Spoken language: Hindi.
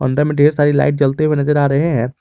अंदर में ढेर सारी लाइट जलते हुए नजर आ रहे हैं।